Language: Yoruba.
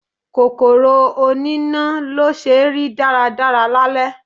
Kòkòrò oní ná ló ṣe rí dára dára lálẹ́.